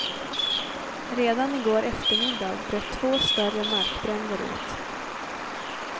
Redan i går eftermiddag bröt två större markbränder ut.